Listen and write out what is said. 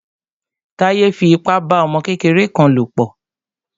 Táyé fi ipa bá ọmọ kékeré kan lò pọ̀.